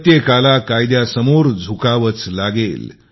प्रत्येकाला कायद्या समोर झुकावेच लागेल